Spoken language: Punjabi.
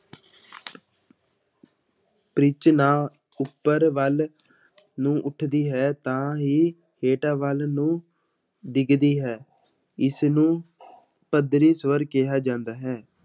ਪਿੱਚ ਨਾ ਉੱਪਰ ਵੱਲ ਨੂੰ ਉੱਠਦੀ ਹੈ ਤਾਂ ਹੀ ਹੇਠਾਂ ਵੱਲ ਨੂੰ ਡਿੱਗਦੀ ਹੈ, ਇਸਨੂੰ ਪੱਧਰੀ ਸਵਰ ਕਿਹਾ ਜਾਂਦਾ ਹੈ।